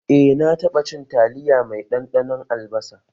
Eh na taɓa cin taliya mai ɗanɗanon albasa